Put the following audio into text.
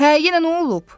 Hə, yenə nə olub?